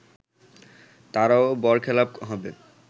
তারও বরখেলাপ হবে